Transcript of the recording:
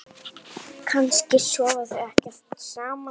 Kannski sofa þau ekkert saman?